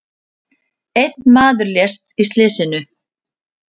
Einn maður lést í slysinu.